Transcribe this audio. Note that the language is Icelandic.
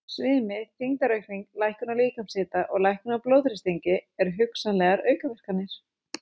Svimi, þyngdaraukning, lækkun á líkamshita og lækkun á blóðþrýstingi eru hugsanlegar aukaverkanir.